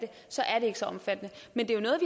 så er det ikke så omfattende men det